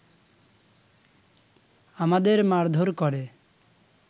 আমাদের মারধর করে